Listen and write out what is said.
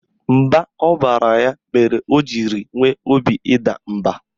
Mba ọ baara ya mere o jiri nwee obi ịda mba